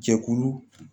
Jɛkulu